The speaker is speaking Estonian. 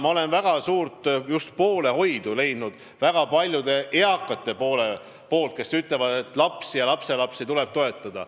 Ma olen suurt poolehoidu kogenud väga paljude eakate inimeste poolt, kes ütlevad, et lapsi ja lapselapsi tuleb toetada.